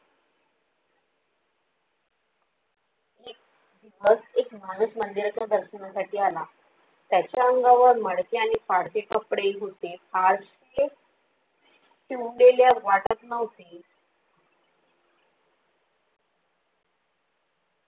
मग एक माणूस मंदिराच्या दर्शनासाठी आला. त्याच्या अंगावर मडके आणि फडके कपडे होते, फारसे शिवलेले वाटत नव्हते